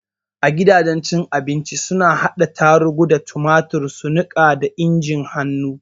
A gidajen cin abinci suna hada tarugu da tumatur su niƙa da injin hannu.